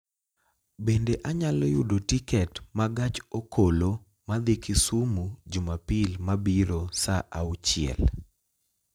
Bende anyalo yudo tiket ma gach okoloma dhi Kisumu jumapil mabiro saa auchiel